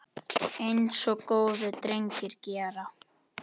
Eins og góðir drengir gera.